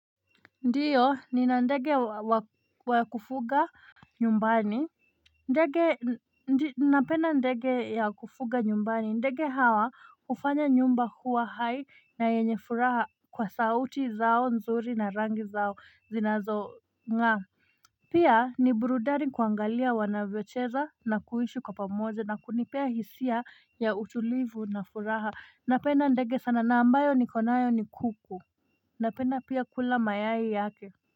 Ndio nina ndege wa kufuga nyumbani ndege napenda ndege ya kufuga nyumbani ndege hawa ufanya nyumba huwa hai na yenye furaha kwa sauti zao nzuri na rangi zao zinazo ng'aa pia ni burudani kuangalia wanavyocheza na kuishi kwa pamoja na kunipea hisia ya utulivu na furaha napenda ndege sana na ambayo nikonayo ni kuku Napenda pia kula mayai yake.